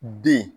Den